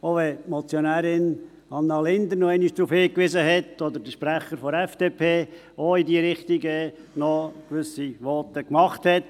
Auch wenn die Motionärin Anna Linder noch einmal darauf hingewiesen hat, oder der Sprecher der FDP, der auch gewisse Voten in diese Richtung gemacht hat: